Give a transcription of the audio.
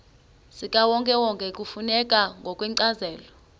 zikawonkewonke kufuneka ngokwencazelo